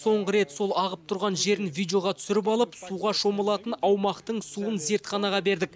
соңғы рет сол ағып тұрған жерін видеоға түсіріп алып суға шомылатын аумақтың суын зертханаға бердік